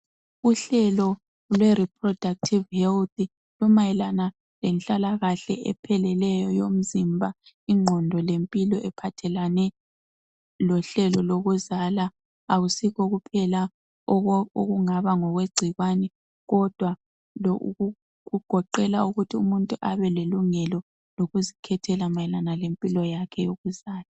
uhlelo lwe Reproductive health limayelana lenhlalakahla epheleleyo eyomzimba ingqondo ephathelane lohlelo lokuzala akusikho kuphela okungaba ngokwe gcikwane kodwa kugoqela ukuthi umuntu abe lelungelo lokuzikhethela mayelana lempilo yakhe yokuzala